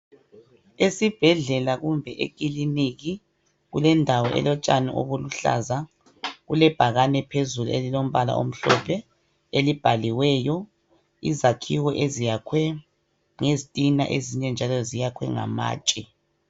Esibhedlela kumbe ekiliniki, kulendawo elotshani obuluhlaza. kulebhakane phezulu, elilombala omhlophe, elibhaliweyo. Izakhiwo, eziyakhwe ngezitina. Ezinye njalo, ziyakhwe ngamatshe.